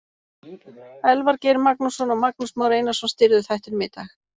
Elvar Geir Magnússon og Magnús Már Einarsson stýrðu þættinum í dag.